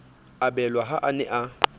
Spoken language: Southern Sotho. abelwa ha a ne a